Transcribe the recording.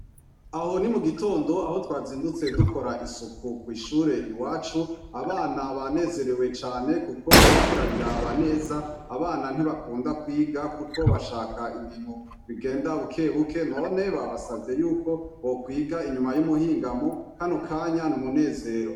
Aho ni mugitondo aho twazindutse dukora isuku kwishure iwacu abana banezerewe cane kuko uriko urabiraba neza abana ntibakunda kwiga kuko bashaka ibintu bigenda bukebuke none babasavye yuko bokwiga inyuma yumuhingamo kano kanya numunezero.